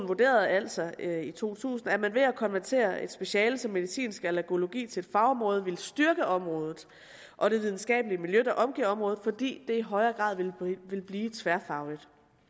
vurderede altså i to tusind at man ved at konvertere et speciale som medicinsk allergologi til et fagområde ville styrke området og det videnskabelige miljø der omgiver området fordi det i højere grad ville blive tværfagligt